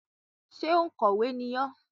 Ṣé òǹkọ̀wé ni ọ́?